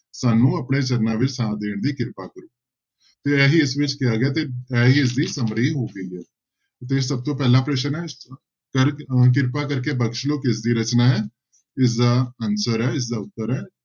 ਸਾਨੂੰ ਆਪਣੇ ਚਰਨਾਂ ਵਿੱਚ ਥਾਂ ਦੇਣ ਦੀ ਕਿਰਪਾ ਕਰੋ ਤੇ ਇਹੀ ਇਸ ਵਿੱਚ ਕਿਹਾ ਗਿਆ ਤੇ ਇਹੀ ਇਸਦੀ summary ਹੋਵੇਗੀ, ਤੇ ਸਭ ਤੋਂ ਪਹਿਲਾ ਪ੍ਰਸ਼ਨ ਹੈ ਕਰ ਅਹ ਕਿਰਪਾ ਕਰਕੇ ਬਖ਼ਸ਼ ਲਓ ਕਿਸਦੀ ਰਚਨਾ ਹੈ ਇਸਦਾ answer ਹੈ ਇਸਦਾ ਉੱਤਰ ਹੈ,